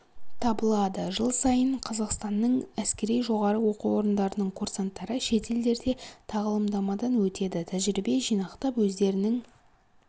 табылады жыл сайын қазақстанның әскери жоғары оқу орындарының курсанттары шетелдерде тағылымдамадан өтеді тәжірибе жинақтап өздерінің